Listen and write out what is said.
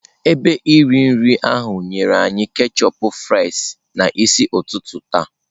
Ebe iri nri ahụ nyere anyị ketchup fries n'isi ụtụtụ taa.